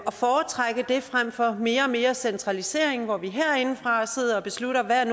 og foretrække det frem for mere og mere centralisering hvor vi herindefra sidder og beslutter hvad